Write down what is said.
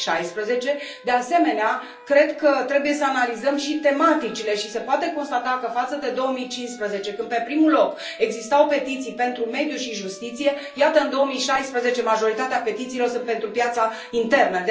2016. De asemenea, cred că trebuie să analizăm și tematicile și se poate constata că, față de 2015, când pe primul loc existau petiții pentru mediu și justiție, iată, în 2016, majoritatea petițiilor sunt pentru piața internă.